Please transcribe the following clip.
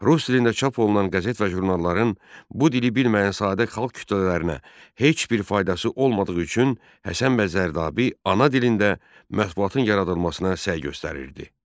Rus dilində çap olunan qəzet və jurnalların bu dili bilməyən sadə xalq kütlələrinə heç bir faydası olmadığı üçün Həsən bəy Zərdabi ana dilində mətbuatın yaradılmasına səy göstərirdi.